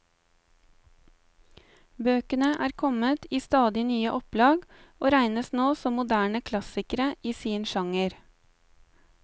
Bøkene er kommet i stadig nye opplag, og regnes nå som moderne klassikere i sin sjanger.